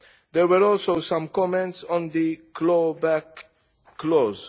There were also some comments on the clawback clause.